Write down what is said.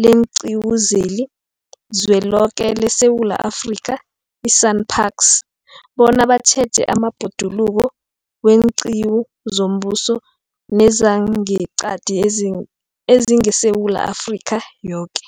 leenQiwu zeliZweloke leSewula Afrika, i-SANParks, bona batjheje amabhoduluko weenqiwu zombuso nezangeqadi ezingeSewula Afrika yoke.